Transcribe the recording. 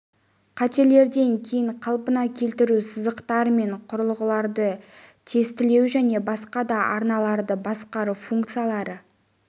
қателерден кейін қалпына келтіру сызықтар мен құрылғыларды тестілеу және басқа да арналарды басқару функциялары